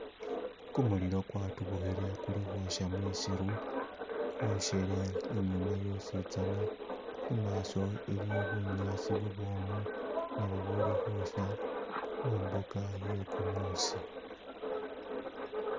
Gumulilo gwadubukhile guli khosha mwisiru gwoshele inyuma yositsana imaso iliyo bunyasi bubwomu nabo bubuli khusha mumbuga yegumusi